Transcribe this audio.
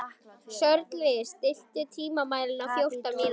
Sörli, stilltu tímamælinn á fjórtán mínútur.